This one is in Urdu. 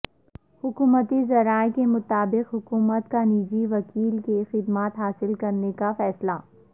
حکومتی ذرائع کے مطابق حکومت کا نجی وکیل کی خدمات حاصل کرنے کا فیصلہ